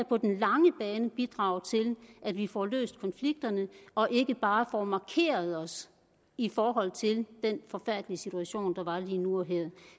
på den lange bane bidrage til at vi får løst konflikterne og ikke bare får markeret os i forhold til den forfærdelige situation der var lige nu og her